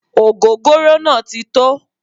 Ogogoro naa ti tó